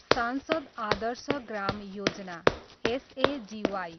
सांसद आदर्श ग्राम योजना, एसएजिवाई